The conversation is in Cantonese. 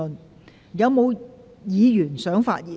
是否有議員想發言？